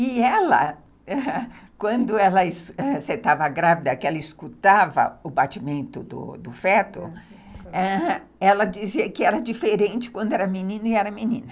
E ela, quando ela estava grávida, que ela escutava o batimento do feto, ãh, ela dizia que era diferente quando era menina e era menina.